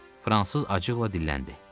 Fransız acıqla dilləndi.